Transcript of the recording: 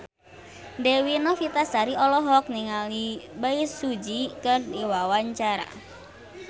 Dewi Novitasari olohok ningali Bae Su Ji keur diwawancara